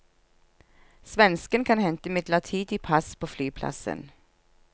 Svensken kan hente midlertidig pass på flyplassen.